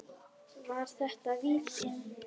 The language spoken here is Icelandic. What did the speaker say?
Var þetta víti?